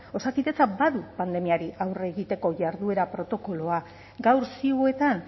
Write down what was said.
osakidetzak badu pandemiari aurre egiteko jarduera protokoloa gaur ziuetan